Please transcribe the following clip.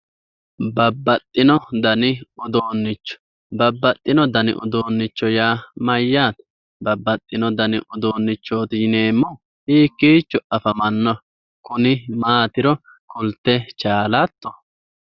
Babbaxxino dani uduunnicho babbaxxino dani uduunnicho yaa mayyaate babbaxxino dani uduunnichooti yineemmohu hiikkichooti afamannohu kuni maatiro kulte chaalatto.